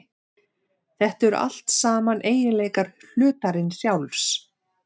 Þetta eru allt saman eiginleikar hlutarins sjálfs.